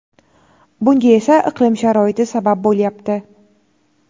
bunga esa iqlim sharoiti sabab bo‘lyapti.